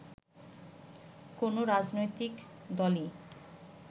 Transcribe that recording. কোনো রাজনৈতিক দলই